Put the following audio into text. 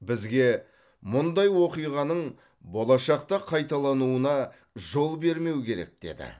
бізге мұндай оқиғаның болашақта қайталануына жол бермеу керек деді